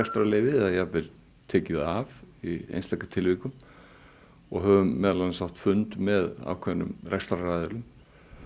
eða jafnvel tekið það af í einstaka tilvikum og höfum meðal annars átt fund með ákveðnum rekstraraðilum